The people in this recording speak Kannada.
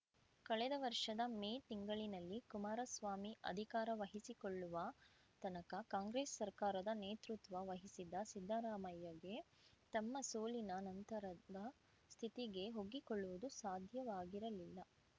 ಕಳೆದ ವರ್ಷದ ಮೇ ತಿಂಗಳಿನಲ್ಲಿ ಕುಮಾರಸ್ವಾಮಿ ಅಧಿಕಾರ ವಹಿಸಿಕೊಳ್ಳುವ ತನಕ ಕಾಂಗ್ರೆಸ್‌ ಸರ್ಕಾರದ ನೇತೃತ್ವ ವಹಿಸಿದ್ದ ಸಿದ್ದರಾಮಯ್ಯಗೆ ತಮ್ಮ ಸೋಲಿನ ನಂತರದ ಸ್ಥಿತಿಗೆ ಒಗ್ಗಿಕೊಳ್ಳುವುದು ಸಾಧ್ಯವಾಗಿರಲಿಲ್ಲ